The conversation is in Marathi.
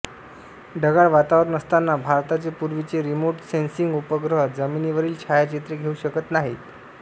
ढगाळ वातावरण असताना भारताचे पूर्वीचे रिमोट सेन्सिंग उपग्रह जमिनीवरील छायाचित्रे घेऊ शकत नाहीत